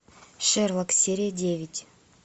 шерлок серия девять